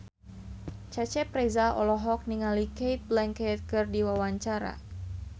Cecep Reza olohok ningali Cate Blanchett keur diwawancara